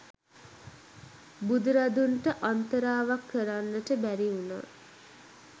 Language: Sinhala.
බුදුරදුන්ට අන්තරාවක් කරන්නට බැරි වුණා.